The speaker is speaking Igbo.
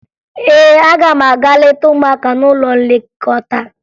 Ee, aga m aga leta ụmụaka n'ụlọ nlekọta